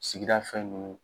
Sigida fɛn ninnu